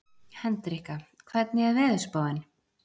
Hendrikka, hvernig er veðurspáin?